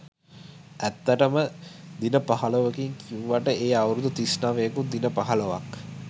ඇත්තටම දින පහළොවකින් කිව්වට ඒ අවුරුදු තිස් නවයකුත් දින පහළොවක්.